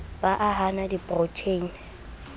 ba ha a na diprotheine